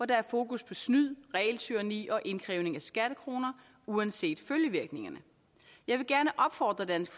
der har fokus på snyd regeltyranni og indkrævning af skattekroner uanset følgevirkningerne jeg vil gerne opfordre dansk